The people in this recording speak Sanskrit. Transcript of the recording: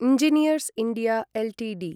engineers India Ltd